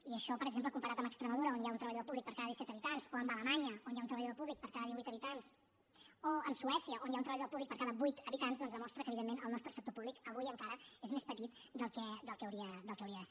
i això per exemple comparat amb extremadura on hi ha un treballador públic per cada disset habitants o amb alemanya on hi ha un treballador públic per cada divuit habitants o amb suècia on hi ha un treballador públic per cada vuit habitants doncs demostra que evidentment el nostre sector públic avui encara és més petit del que hauria de ser